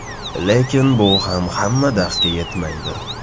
Lekin bu ham hamma darsga yetmaydi.